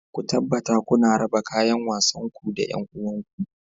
Ku tabbata kuna raba kayan wasanku da 'yan uwanku